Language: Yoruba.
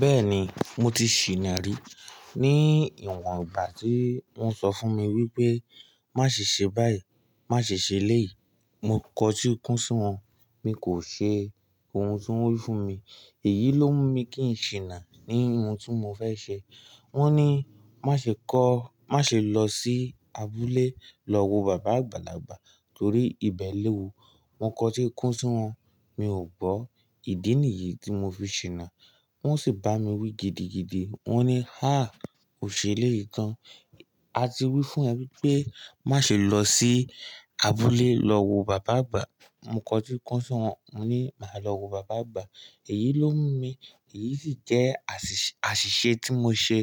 Bẹ́ẹ̀ni, mo ti ṣìná rí ní ìwọ̀n ìgbà tí wọ́n sọ fún mi wípé má ṣe ṣe báyìí, má ṣe ṣe léyìí. Mo kọ tí kún sí wọn, mi kò ṣe ohun tí wọ́n wí fún mi. Èyí ló mú mi kí n ṣìná ní ohun tí mo fẹ́ ṣe. Wọ́n ní má ṣe kọ́, má ṣe lọ sí abúlé lọ wo bàbá àgbàlagbà torí ibẹ̀ léwu. Mo kọ tí kún sí wọn, mi ò gbọ́. Ìdí nìyí tí mo fi ṣìná. Wọ́n sì bá mi wí gidigidi. Wọ́n ní, "Háà! O ṣe eléyìí tan. A ti wí fún ẹ wípé má ṣe lọ sí abúlé lọ wo bàbá àgbà." Mo kọ tí kún sí wọn, mo ní màá lọ wo bàbá àgbà. Èyí ló mú mi, èyí sì jẹ́ àṣìṣe tí mo ṣe